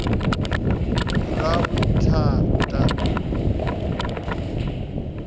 ravhuthata